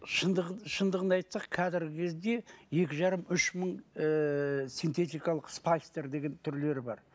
шындығын айтсақ қазіргі кезде екі жарым үш мың ыыы сентетикалық деген түрлері бар